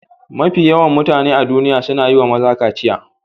Mafi yawan mutane a duniya suna yi wa maza kaciya.